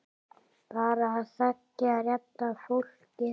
Bara að þekkja rétta fólkið.